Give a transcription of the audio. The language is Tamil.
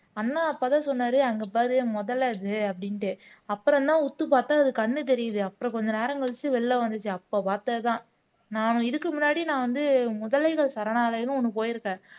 அண்ணா அப்பதான் சொன்னாரு அங்க பாரு முதலை அது அப்படின்னுட்டு அப்பறம்தான் உத்து பார்த்தா அது கண்ணு தெரியுது அப்புறம் கொஞ்ச நேரம் கழிச்சு வெளியில வந்துச்சு அப்ப பார்த்ததுதான் நான் இதுக்கு முன்னாடி நான் வந்து முதலைகள் சரணாலயம்னு ஒண்ணு போயிருக்கேன்